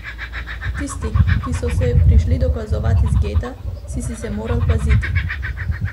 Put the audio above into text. Tistih, ki so se prišli dokazovat iz geta, si se moral paziti.